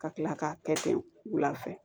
Ka kila k'a kɛ ten wula fɛ